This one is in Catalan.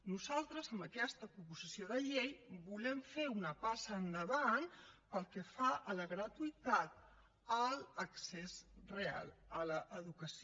nosaltres amb aquesta proposició de llei volem fer una passa endavant pel que fa a la gratuïtat a l’accés real a l’educació